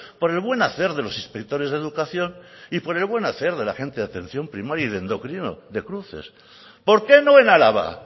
por el buen hacer de los inspectores de educación y por el buen hacer de la gente de atención primaria y de endocrino de cruces por qué no en álava